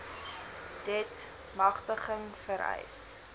deat magtiging vereis